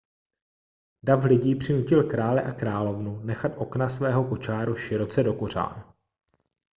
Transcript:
dav lidí přinutil krále a královnu nechat okna svého kočáru široce dokořán